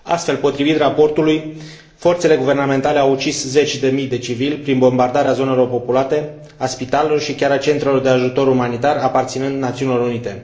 Astfel, potrivit raportului, forțele guvernamentale au ucis zeci de mii de civili prin bombardarea zonelor populate, a spitalelor și chiar a centrelor de ajutor umanitar aparținând Națiunilor Unite.